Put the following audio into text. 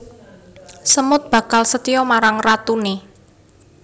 Semut bakal setya marang ratuné